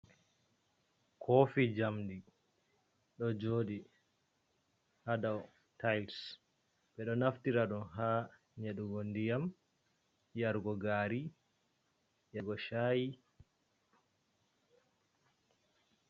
Kofi njamdi ɗo joɗi ha dow tails, ɓeɗo naftira ɗum ha nyedugo ndiyam, yargo gari, yargo chayi.